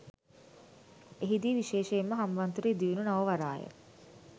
එහිදී විශේෂයෙන්ම හම්බන්තොට ඉදිවුණු නව වරාය